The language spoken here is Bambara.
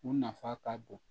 U nafa ka bon